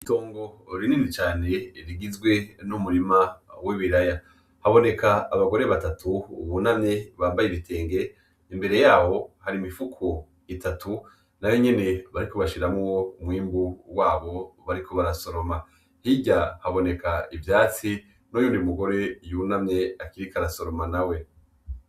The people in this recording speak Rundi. Itongo rinini cane rigizwe n'umurima w'ibiraya haboneka, abagore batatu bunamye bambay'ibitenge imbere yabo har'imisfuko itatu nayonyene bariko bashiramwo umwimbu wabo bariko barasoroma ,hirya haboneka ivyatsi n'wundi mugore yunamye ariko arasoroma nawe.